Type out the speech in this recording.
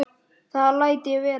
Það læt ég vera